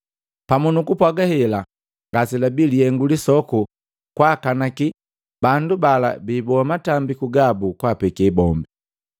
Pamu nukupwaga hela ngase labi lihengu lisoku kwakanaki bandu bala biiboa matambiku gabu kwaapeke bombe.